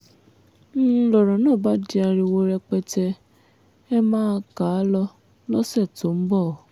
n lọ̀rọ̀ náà bá di ariwo rẹpẹtẹ ẹ máa kà á lọ lọ́sẹ̀ tó ń bọ̀